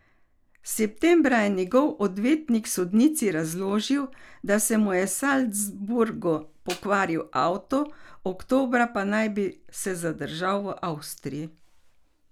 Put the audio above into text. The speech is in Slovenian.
Septembra je njegov odvetnik sodnici razložil, da se mu je v Salzburgu pokvaril avto, oktobra pa naj bi se zadržal v Avstriji.